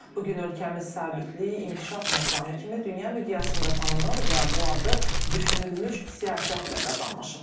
Bu gün ölkəmiz sabitlik, inkişaf məkanı kimi dünya miqyasında tanınır və bu adı düşünülmüş siyasətlə qazanmışıq.